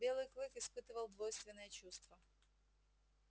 белый клык испытывал двойственное чувство